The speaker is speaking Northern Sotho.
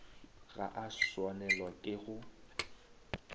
ga a swanelwa ke go